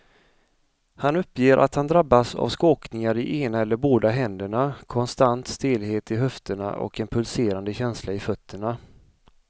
Han uppger att han drabbas av skakningar i ena eller båda händerna, konstant stelhet i höfterna och en pulserande känsla i fötterna.